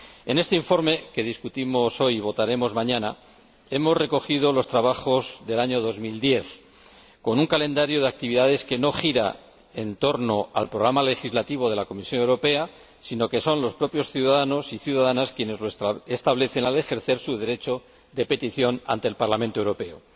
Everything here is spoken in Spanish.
En este informe, que discutimos hoy y votaremos mañana, hemos recogido los trabajos del año 2010 con un calendario de actividades que no gira en torno al programa legislativo de la Comisión Europea, sino que son los propios ciudadanos y ciudadanas quienes lo establecen al ejercer su derecho de petición ante el Parlamento Europeo.